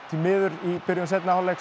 því miður í byrjun seinni hálfleik